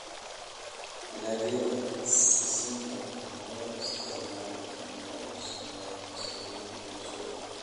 Dalagyada sisinta waxaa loo isticmaalaa in lagu sameeyo saliid iyo subag.